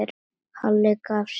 Halli gaf sig ekki.